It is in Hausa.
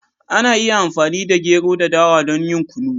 Ana iya amfani da gero da dawa don yin Kunu.